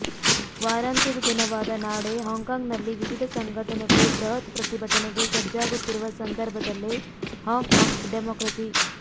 ವಾರಾಂತ್ಯದ ದಿನವಾದ ನಾಳೆ ಹಾಂಕಾಂಗ್ನಲ್ಲಿ ವಿವಿಧ ಸಂಘಟನೆಗಳು ಬೃಹತ್ ಪ್ರತಿಭಟನೆಗೆ ಸಜ್ಜಾಗುತ್ತಿರುವ ಸಂದರ್ಭದಲ್ಲೇ ಹಾಂಕಾಂಗ್ ಡೆಮಾಕ್ರಸಿ